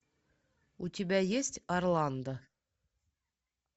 у тебя есть орландо